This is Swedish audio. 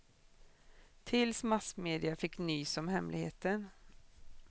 Tills massmedia fick nys om hemligheten.